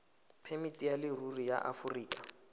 phemiti ya leruri ya aforika